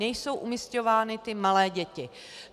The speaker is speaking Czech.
Nejsou umisťovány ty malé děti.